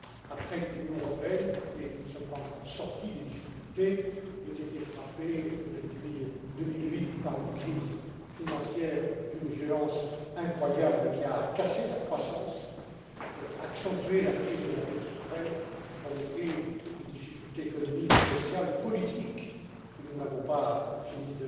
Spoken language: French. après que l'Union européenne et nous ne sommes pas encore sortis des difficultés a été frappée depuis 2008 par une crise financière d'une violence incroyable, qui a cassé la croissance, accentué la crise de la dette souveraine et provoqué des difficultés économiques, sociales et politiques que nous n'avons pas fini